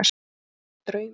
Þetta er alveg draumur.